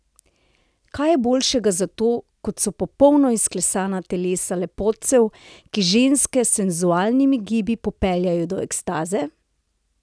Kaj je boljšega za to, kot so popolno izklesana telesa lepotcev, ki ženske s senzualnimi gibi popeljejo do ekstaze?